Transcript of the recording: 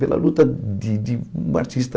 Pela luta de de um artista...